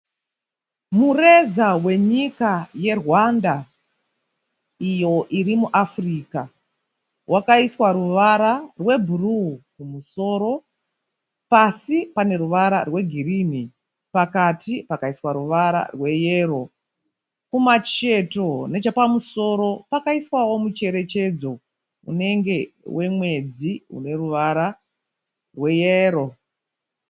Mureza wenyika yeRwanda iyo iri muAfrica wakaiswa ruvara rwebhuruu kumusoro pasi pane ruvara rwegirini pakati pakaiswa ruvara rweyero kumacheto nechepamusoro pakaiswawo mucherechedzo unenge wemwedzi une ruvara rweyero.